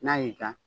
N'a y'i ja